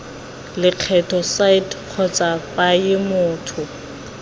lekgetho site kgotsa paye motho